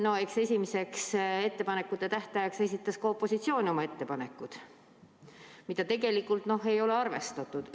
No eks esimeseks ettepanekute tähtajaks esitas ka opositsioon oma ettepanekud, mida tegelikult ei ole arvestatud.